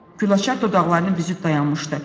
Gülaçar dodaqlarını büzüb dayanmışdı.